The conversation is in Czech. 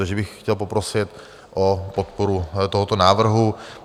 Takže bych chtěl poprosit o podporu tohoto návrhu.